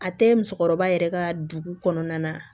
A tɛ musokɔrɔba yɛrɛ ka dugu kɔnɔna na